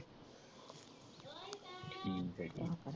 ਠੀਕ ਹੈ ਠੀਕ ਹੈ।